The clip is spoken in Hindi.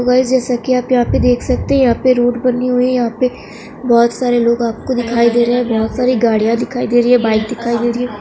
गाइस जैसा की आप देख सकते है यहाँ पे रोड बनी हुई हैं यहाँ पे बहुत सारे लोग आप को दिखाई दे रहे हैं बहुत साड़ी गाड़ियां दिखाई दे रही हैं बाइक दिखाई दे रही हैं।